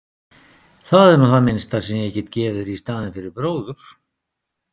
Það er nú það minnsta sem ég get gefið þér í staðinn fyrir bróður.